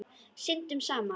Syndum saman.